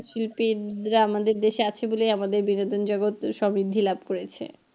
শিল্পীরা আমাদের দেশে আছে বলেই আমাদের বিনোদন জগতে সব বৃদ্ধি লাভ করেছে।